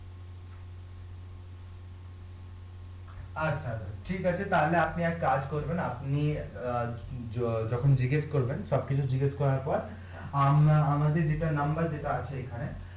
আচ্ছা আচ্ছা ঠিক আছে তাহলে আপনি এক কাজ করবেন আপনি অ্যাঁ য যখন জিজ্ঞেস করবেন সব কিছু জিজ্ঞেস করার পর আম আমাদের নাম্বার যেটা আছে এখানে